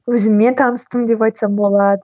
өзіммен таныстым деп айтсам болады